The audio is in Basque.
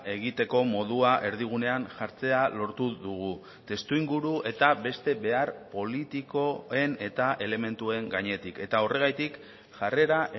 egiteko modua erdigunean jartzea lortu dugu testuinguru eta beste behar politikoen eta elementuen gainetik eta horregatik jarrera